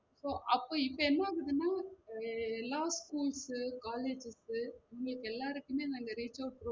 So அப்போ இப்ப என்ன ஆகுதுனா எ எல்லா school college உங்களுக்கு எல்லாருக்குமே நாங்க reachout